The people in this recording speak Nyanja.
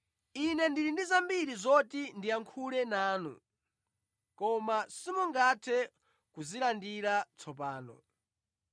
“Ine ndili ndi zambiri zoti ndiyankhule nanu, koma simungathe kuzilandira tsopano.